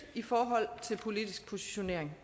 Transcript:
i forhold til politisk positionering